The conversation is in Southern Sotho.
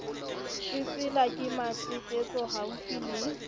tsetsela ke matetetso haufi le